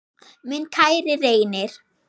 Minn kæri Reynir.